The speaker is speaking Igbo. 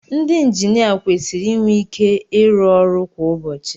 Ndị injinia kwesịrị inwe ike ịrụ ọrụ kwa ụbọchị